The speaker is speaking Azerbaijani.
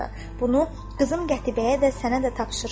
Bunu qızım Qətibəyə və sənə də tapşırıram.